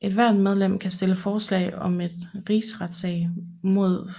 Ethvert medlem kan stille forslag om en rigsretssag mod